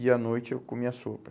E à noite eu comia sopa.